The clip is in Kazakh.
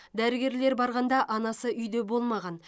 дәрігерлер барғанда анасы үйде болмаған